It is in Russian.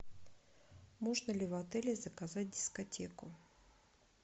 можно ли в отеле заказать дискотеку